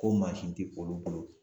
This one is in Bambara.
Ko mansin tɛ olu bolo